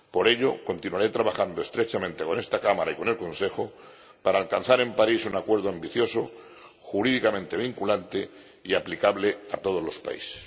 Por ello, continuaré trabajando estrechamente con esta Cámara y con el Consejo para alcanzar en París un acuerdo ambicioso, jurídicamente vinculante y aplicable a todos los países.